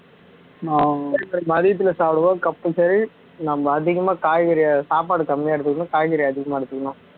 மதியத்துல சாப்பிடும்போது compulsory நம்ம அதிகமா காய்கறி சாப்பாடு கம்மியா எடுத்துக்கணும் காய்கறி அதிகமா எடுத்துக்கணும்